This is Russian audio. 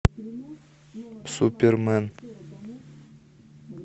супермен